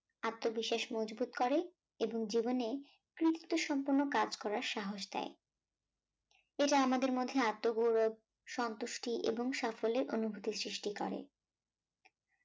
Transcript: আত্মবিশ্বাস মজবুত করে এবং জীবনে কৃতিত্ব সম্পন্ন কাজ করার সাহস দেয় এটা আমাদের মধ্যে আত্মগৌরব সন্তুষ্টি এবং সাফল্যের অনুভূতি সৃষ্টি করে